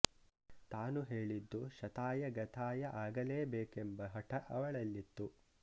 ತಾನು ಹೇಳಿದ್ದು ಶತಾಯ ಗತಾಯ ಆಗಲೇ ಬೇಕೆಂಬ ಹಠ ಅವಳಲ್ಲಿತ್ತು